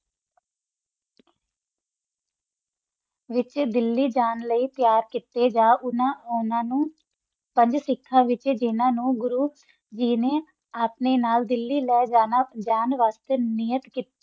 ਵਿਤਚ ਦਿਆਲੀ ਜਾਨ ਲਯੀ ਟਾਯਰ ਕੀਤਾ ਸਨ ਓਨਾ ਨਾ ਪੰਜ ਸਿਖਾ ਨਾਲ ਰਾਬਤਾ ਕੀਤਾ ਜਿਨਾ ਆਪਣਾ ਨਾਲ ਦਿਲੀ ਲਾਜਨ ਵਾਸਤਾ ਟਾਯਰ ਕੀਤੀ ਸੀ